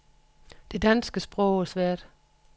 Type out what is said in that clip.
Det danske sprog er svært.